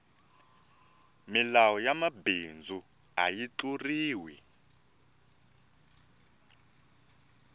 milawu ya mabindzu ayi tluriwi